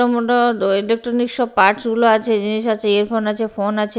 Electronics সব parts -গুলো আছে জিনিস আছে ইয়ারফোন আছে ফোন আছে।